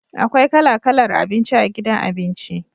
Akwai kala kalar abinci a gidan abinci.